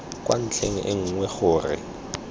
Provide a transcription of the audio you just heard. kwa ntlheng e nngwe gore